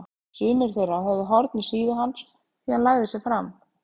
Sumir þeirra höfðu horn í síðu hans því hann lagði sig fram.